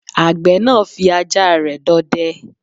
Àgbẹ̀ náà fí ajá rẹ̀ dọdẹ